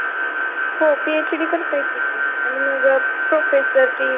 हो PhD करत येते.